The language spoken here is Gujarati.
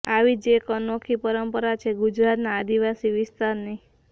આવી જ એક અનોખી પરંપરા છે ગુજરાતનાં આદિવાસી વિસ્તારની